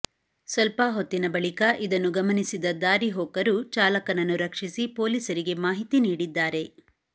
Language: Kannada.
ಸ್ವಲ್ಪ ಹೊತ್ತಿನ ಬಳಿಕ ಇದನ್ನು ಗಮನಿಸಿದ ದಾರಿ ಹೋಕರು ಚಾಲಕನನ್ನು ರಕ್ಷಿಸಿ ಪೊಲೀಸರಿಗೆ ಮಾಹಿತಿ ನೀಡಿದ್ದಾರೆ